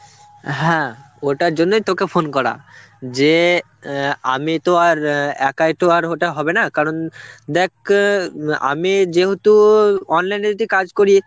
হ্যাঁ, ওটার জন্যই তোকে phone করা. যে অ্যাঁ আমি তো আর অ্যাঁ একাই তো আর ওটা হবে না, কারণ দেখ আমি যেহেতু online এ যদি কাজ করি